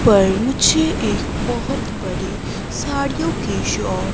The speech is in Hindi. पर मुझे ये एक बहोत बड़ी साड़ियों की शा--